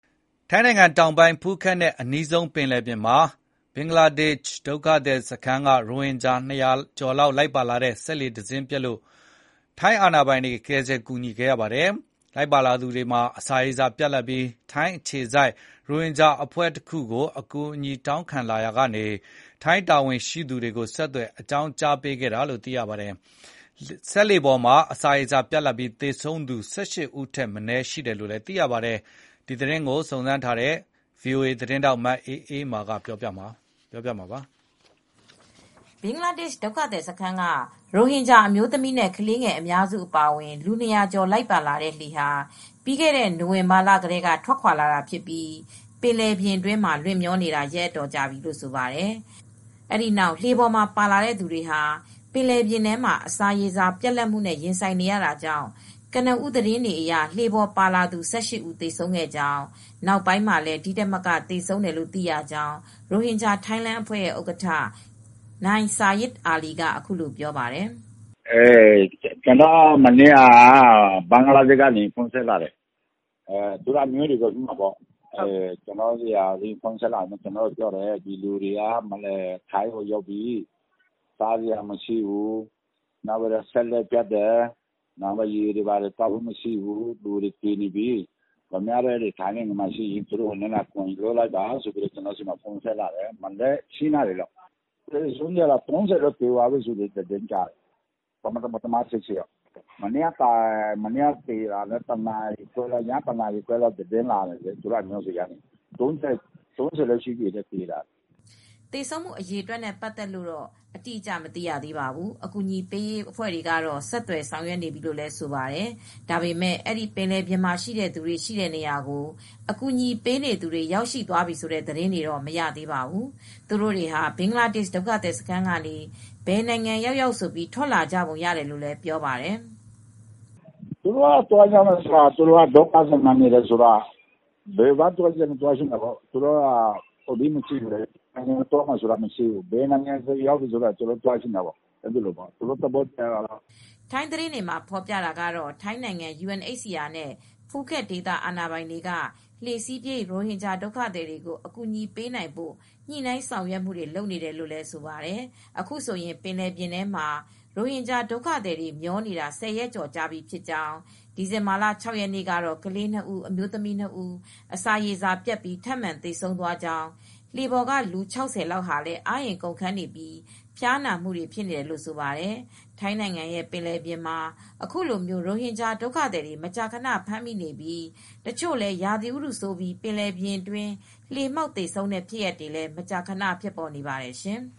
ထိုင်းနိုင်ငံတောင်ပိုင်း ဖူးခက်နဲ့အနီးဆုံးပင်လယ်ပြင်မှာ ဘင်္ဂလားဒေရှ့်ဒုက္ခသည်စခန်းက ရိုဟင်ဂျာ ၂၀၀ ကျော်လိုက်ပါလာတဲ့ စက်လှေတစင်းပျက်လို့ ထိုင်းအာဏာပိုင်တွေ ကယ်ဆယ်ကူညီခဲ့ရပါတယ်။ လိုက်ပါလာသူတွေမှာ အစာရေစာပြတ်လပ်ပြီး ထိုင်းအခြေစိုက် ရိုဟင်ဂျာအဖွဲ့တခုကို အကူအညီတောင်းခံလာရာကနေ ထိုင်းတာဝန်ရှိသူတွေကို ဆက်သွယ်အကြောင်းကြားပေးခဲ့တာလို့သိရပါတယ်။ လှေပေါ်မှာ အစာရေစာပြတ်ပြီး သေဆုံးသူ ၁၈ ဦးထက်မနည်းရှိတယ်လို့ သိရပါတယ်။ မအေးအေးမာ သတင်းပေးပို့ထားပါတယ်။ ဘင်္ဂလားဒေရှ့်ဒုက္ခသည်စခန်းက ရိုဟင်ဂျာအမျိုးသမီးနဲ့ ခလေးငယ်အများစုအပါအဝင် လူ၂၀၀ ကျော် လိုက်ပါလာတဲ့ လှေဟာ ပြီးခဲ့တဲ့နိုဝင်ဘာလကတည်းက ထွက်ခွါလာတာဖြစ်ပြီး ပင်လယ်ထဲမျောနေတာ ရက်အတော်ကြာပြီလို့ဆိုပါတယ် ။ အဲဒီနောက် လှေပေါ်ပါလာတဲ့သူတွေ အစာရေစာပြတ်သွားခဲ့ပြီး ကနဦးသတင်းအရ လှေပေါ်ပါ လာသူ ၁၈ ဦးသေဆုံးခဲ့ရကြောင်း နောက်ပိုင်းမှာလည်း ဒီထက်မက သေဆုံးတယ်လို့သိရှိရကြောင်း Rphingya Thailand အဖွဲ့ ဥက္ကဋ္ဌ နိုင်ဆာရစ်အာလီက အခုလိုပြောပါတယ်။ “ကျနော်တို့ကို မနေ့က ဘင်္ဂလားဒေ့ရှ်ကနေ သူတို့အမျိုးတွေက ဖုန်းဆက်လာတယ်။ ဒီလူတွေက ထိုင်းကိုရောက်နေပြီ၊ စားစရာမရှိဘူး၊ စက်လှေပျက်တယ်၊ ရေတွေဘာတွေသောက်ဖို့မရှိဘူး၊ လူတွေသေနေပြီ၊ ခင်ဗျားတို့ထိုင်းကလူတွေကူညီပါလို့ပြောတယ်။ မနက် ၈ နာရီလောက်က ဆက်လာတာပါ။ အခုဆို ၃၀ လောက် သေသွားပြီလို့ ကြားတယ်။ မနေ့ကတော့ ၁၈ ယောက်၊ မနေ့ည ၁ နာရီခွဲလောက်က သူတို့အမျိုးတွေဆက်လာတာတော့ သေတာ ၃၀ လောက်ရှိပြီလို့ပြောတယ်။” သေဆုံးမှုအရေအတွက်နဲ့ပတ်သက်လို့တော့ အတိအကျမသိရသေးပါဘူး။ အကူညီပေးရေးအဖွဲ့တွေကတော့ ဆက်သွယ်ဆောင်ရွက်နေပြီလို့ ဆိုပါတယ်။ ဒါပေမဲ့ အဲဒီသူတွေရှိတဲ့ ပင်လယ်ပြင်ထဲကို အကူညီပေးနေသူတွေ ရောက်ရှိသွားပြီဆိုတဲ့သတင်းတွေတော့ မရသေးပါဘူး။ သူတို့တွေဟာ ဘင်္ဂလားဒေ့ရှ် ဒုက္ခသည် စခန်းကနေ ဘယ်နိုင်ငံရောက်ရောက်ဆိုပြီး ထွက်လာကြပုံရတယ်လို့လည်း ပြောပါတယ်။ “သူတို့က ဒုက္ခည်စခန်းမှာနေတယ်ဆိုတော့ ဘယ်ကိုသွားချင်တယ်ဆိုတာမရှိဘူူး။ ဘယ်ကိုပဲရောက်ရောက် ဘယ်နိုင်ငံပဲဖြစ်ဖြစ် သွားချင်တာပေါ့။ သူတို့သဘောကလေ။” ထိုင်းသတင်းတွေမှာဖေါ်ပြနေတာကတော့ ထိုင်းနိုင်ငံ UNHCR နဲ့ဖူးခက်ဒေသအာဏာပိုင်တွေက လှေစီးပြေး ရိုဟင်ဂျာဒုကသည်တွေကို အကူညီပေးနိုင်ဖို့ ညှိနှိုင်းဆောင်ရွက်နေတယ်လို့ ဆိုပါတယ်။ အခုဆိုရင် ပင်လယ်ပြင်မှာ ရိုဟင်ဂျာဒုက္ခသည်တွေ မျောနေတာ ၁၀ ရက်ကျော်ကြာပြီဖြစ်ကြောင်း ဒီဇင်ဘာလ ၆ ရက် နေ့ကတော့ ကလေး ၂ ဦး၊ အမျိုးသမီး ၂ ဦး အစာရေစာပြတ်ပြီး ထပ်မံသေဆုံးသွားကြောင်း လှေပေါ်က လူ၆၀ လောက်ကလည်း အားအင်ကုန်ခမ်းနေပြီး ဖျားနာနေကြတယ်လို့လည်း ဆိုပါတယ်။ ထိုင်းနိုင်ငံရဲ့ပင်လယ်ပြင်မှာ အခုလို ရိုဟင်ဂျာဒုက္ခသည်တွေ မကြာခဏဖမ်းမိနေပြီး တချို့လည်း ရာသီဥတုဆိုးပြီး ပင်လယ်ပြင်အတွင်း လှေမှောက် သေဆုံးတဲ့ဖြစ်ရပ်တွေလည်း မကြာခဏ ဖြစ်ပေါ်နေပါတယ်ရှင်။